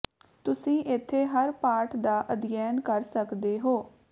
ਤੁਸੀਂ ਇੱਥੇ ਹਰ ਪਾਠ ਦਾ ਅਧਿਐਨ ਕਰ ਸਕਦੇ ਹੋ